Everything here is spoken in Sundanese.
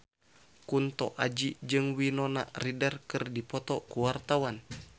Kunto Aji jeung Winona Ryder keur dipoto ku wartawan